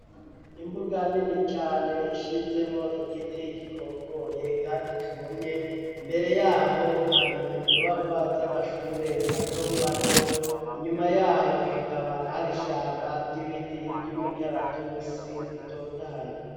Imbuga nini cane ishinzemwo igiti gikokoye, kandi cumye mbere yaho hari inyubakwa z'amashure mato mato inyuma yaho hakaba hari ishamba ry'ibiti ry'umikaratusi bitotahaye.